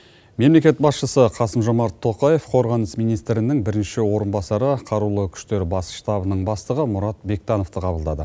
мемлекет басшысы қасым жомарт тоқаев қорғаныс министрінің бірінші орынбасары қарулы күштері бас штабының бастығы мұрат бектановты қабылдады